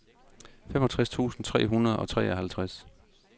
femogtres tusind tre hundrede og treoghalvtreds